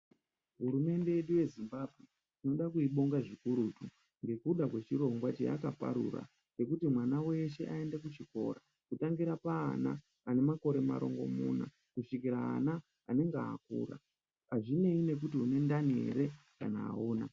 Hurumende yedu yezimbabwe timoda kuibinga zvikurutu ngekuda kwechirongwa chayakaparura chekuti mwana weshe aende kuchikora kutangira paana ane makore marongomuna kusvikira anenge akura azvineni nekuti unendani ere kana auna.